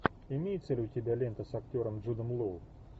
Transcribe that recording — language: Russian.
имеется ли у тебя лента с актером джудом лоу